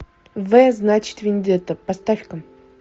в значит вендетта поставь ка